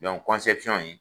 Dɔnki in